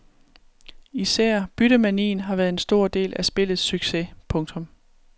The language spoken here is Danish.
Især byttemanien har været en stor del af spillets succes. punktum